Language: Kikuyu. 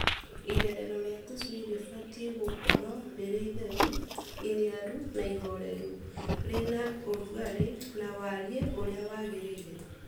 Irerero rĩa tũcui rĩbatiĩ gũkoragwo rĩrĩ itheru, iniaru na ihoreru rĩna ũrugarĩ na wariĩ ũrĩa wagĩrĩire.